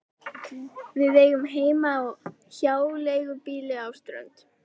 Við eigum heima á hjáleigubýli á Strönd.